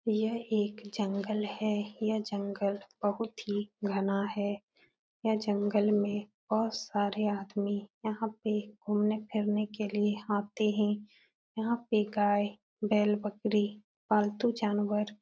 यह एक जंगल है। यह जंगल बोहोत ही घना है। यह जंगल में बोहोत सारे आदमी यहाँ पे घूमने -फिरने के लिए आते हैं। यहाँ पे गायबैलबकरी पालतू जानवर --